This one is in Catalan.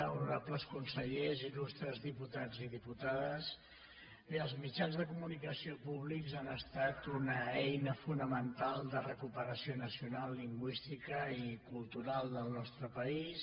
honorables consellers il·lustres diputats i diputades bé els mitjans de comunicació públics han estat una eina fonamental de recuperació nacional lingüística i cultural del nostre país